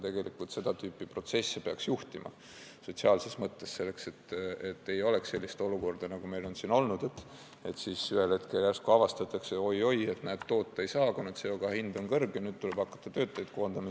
Tegelikult seda tüüpi protsesse peaks juhtima, sotsiaalses mõttes, selleks et ei oleks sellist olukorda, nagu meil on siin olnud – ühel hetkel järsku avastatakse, oi-oi, näed, toota ei saa, kuna CO2 hind on kõrge, nüüd tuleb hakata töötajaid koondama.